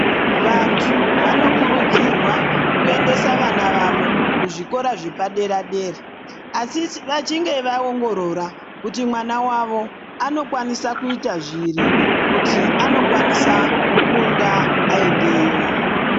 Vantu vanokurudzirwa kuendesa vanavavo kuzvikora zvepadera dera. Asi vachinge vaongorora kuti mwana wavo anokwanisa kuita zviri kuti anokwanisa kukunda aendeyo